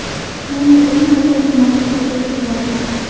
Endi eng asosiy masalaga kelayapmiz.